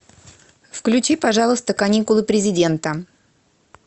включи пожалуйста каникулы президента